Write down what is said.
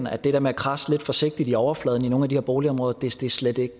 at det der med at kradse lidt forsigtig i overfladen i nogle af de her boligområder slet ikke